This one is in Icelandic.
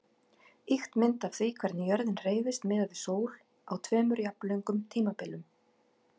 Ýkt mynd af því hvernig jörðin hreyfist miðað við sól á tveimur jafnlöngum tímabilum.